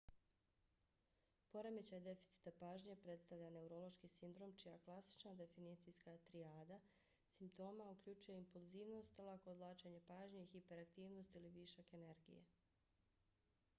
poremećaj deficita pažnje predstavlja neurološki sindrom čija klasična definicijska trijada simptoma uključuje impulzivnost lako odvlačenje pažnje i hiperaktivnost ili višak energije.